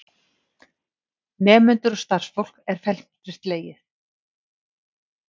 Nemendur og starfsfólk er felmtri slegið